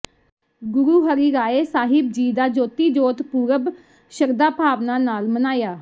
ਗੁਰੂ ਹਰਿ ਰਾਇ ਸਾਹਿਬ ਜੀ ਦਾ ਜੋਤੀ ਜੋਤ ਪੁਰਬ ਸ਼ਰਧਾ ਭਾਵਨਾ ਨਾਲ ਮਨਾਇਆ